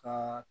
Ka